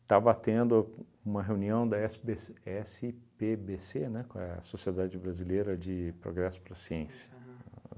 Estava tendo uma reunião da Esse Bê Cê, Esse Pê Bê Cê, né, com a Sociedade Brasileira de Progresso para a Ciência. Aham